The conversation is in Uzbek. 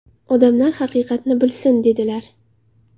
Odamlar haqiqatni bilsin!” dedilar.